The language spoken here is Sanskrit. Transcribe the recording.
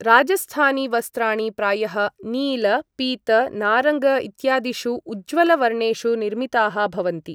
राजस्थानी वस्त्राणि प्रायः नील पीत नारङ्ग इत्यादिषु उज्ज्वल वर्णेषु निर्मिताः भवन्ति ।